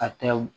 A tɛw